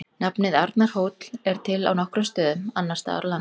Nafnið Arnarhóll er til á nokkrum stöðum annars staðar á landinu.